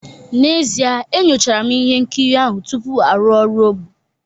N'ezie, enyochara m ihe nkiri ahụ tupu arụ ọrụ ogbo